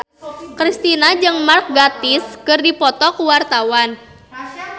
Kristina jeung Mark Gatiss keur dipoto ku wartawan